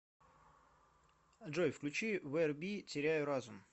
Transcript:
джой включи верби теряю разум